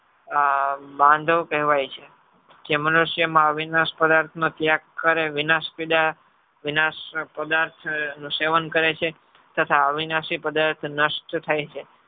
બાંધવ કહેવાય છે. જે મનુષ્યમાં અવિનાશ પદાર્થનો ત્યાગ કરે વિનાશ પદાર્થનું સેવન કરે છે. તથા અવિનાશ પદાર્થ